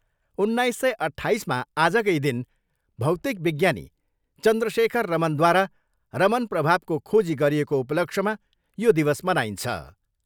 उन्नाइस सय अट्ठाइसमा आजकै दिन भौतिक विज्ञानी चन्द्रशेखर रमनद्वारा रमन प्रभावको खोजी गरिएको उपलक्ष्यमा यो दिवस मनाइन्छ।